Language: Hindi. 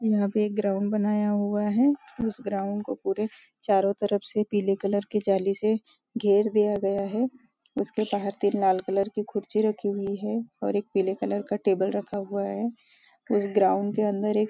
यहाँ पे एक ग्राउंड बनाया हुआ है उस ग्राउंड को पुरे चारों तरफ से पीले कलर की जाली से घेर दिया गया है उसके बाहर तीन लाल कलर की कुर्सी रखी हुई है और एक पीले कलर का टेबल रखा हुआ है इस ग्राउंड के अंदर एक --